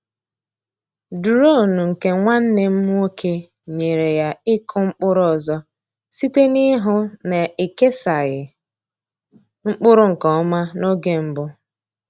Duronu nke nwanne m nwoke nyeere ya ịkụ mkpụrụ ọzọ site n’ịhụ na e kesaghị mkpụrụ nke ọma n’oge mbụ.